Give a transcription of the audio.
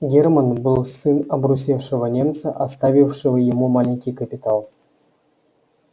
германн был сын обрусевшего немца оставившего ему маленький капитал